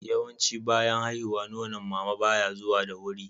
yawanci bayan haihuwa Nonon mama baya zuwa da wuri